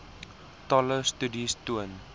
talle studies toon